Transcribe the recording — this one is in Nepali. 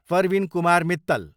परविन कुमार मित्तल